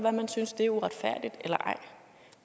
at man synes at det er uretfærdigt